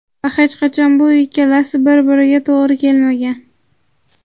Va hech qachon bu ikkalasi bir biriga to‘g‘ri kelmagan.